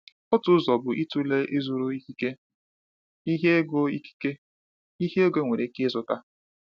Otu ụzọ bụ ịtụle ịzụrụ ikike, ihe ego ikike, ihe ego nwere ike ịzụta.